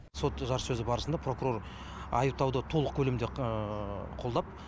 сот жарыссөзі барысында прокурор айыптауды толық көлемде қолдап